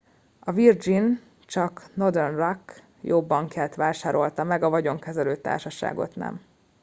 a virgin csak northern rock jó bankját vásárolta meg a vagyonkezelő társaságot nem